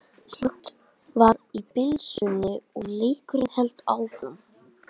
Slökkt var á blysunum og leikurinn hélt áfram.